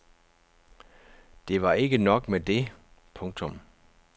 Det var ikke nok med det. punktum